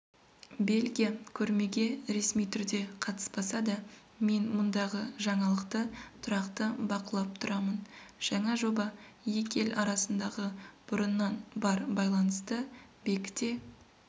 бельгия көрмеге ресми түрде қатыспаса да мен мұндағы жаңалықты тұрақты бақылап тұрамын жаңа жоба екі ел арасындағы бұрыннан бар байланысты бекіте